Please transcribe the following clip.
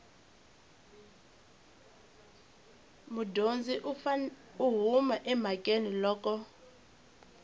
mudyondzi u huma emhakeni loko